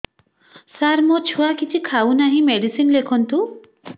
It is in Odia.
ସାର ମୋ ଛୁଆ କିଛି ଖାଉ ନାହିଁ ମେଡିସିନ ଲେଖନ୍ତୁ